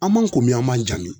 An m'an komi an man ja min?